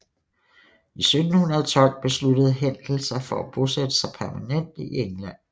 I 1712 besluttede Händel sig for at bosætte sig permanent i England